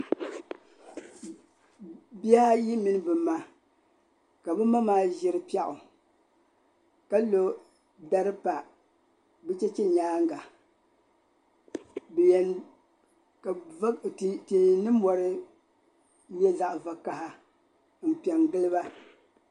Bihi ayi mini bɛ ma ka bɛ ma maa ʒiri piɛɣu ka lɔ'dari pa bɛ chɛchɛ nyaaŋa ka va tihi ni mɔri nyɛ zaɣ'vakaha m pe giliba.